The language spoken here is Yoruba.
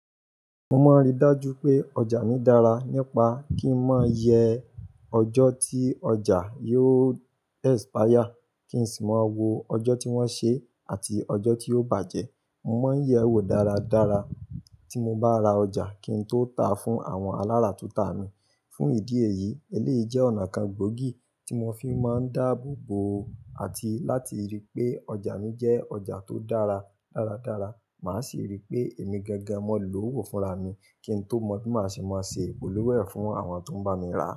Mo máa ń rí dájú pé ọjà mi dára nípa kí ń má yẹ ọjọ́ tí ọjà yóò expire, kí n sì má wo ọjọ́ tí wọ́n ṣe àti ọjọ́ tí yóò bàjẹ́. Mo máa ń yẹ owó dáradára tí mo bá ra ọjà kí n tó ta fún àwọn alárà tun ta mi. Fún ìdí èyí, eléyìí jẹ́ ọ̀nà kan gbóògì tí mo fi máa ń dáàbòbò àti láti rí pé ọjà mi jẹ́ ọjà tó dára dáradára. Màá sì rí pé èmi gangan máa ń lo owó fúnra mi kí n tó mọ bí màá ṣe máa ṣe ìpolówó ẹ̀ fún àwọn tó ń bá mi ra.